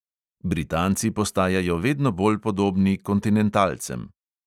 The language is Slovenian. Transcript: Britanci postajajo vedno bolj podobni kontinentalcem.